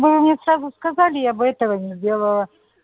вы мне сразу сказали я бы этого не сделала